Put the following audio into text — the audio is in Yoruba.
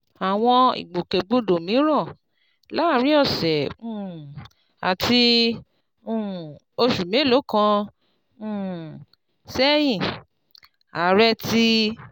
Àwọn ìgbòkègbodò mìíràn: Láàárín ọ̀sẹ̀ um àti um oṣù mélòó kan um sẹ́yìn, Ààrẹ ti